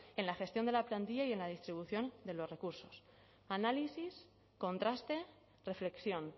en la gestión de la plantilla y en la distribución de los recursos análisis contraste reflexión